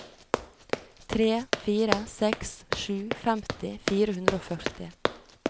tre fire seks sju femti fire hundre og førti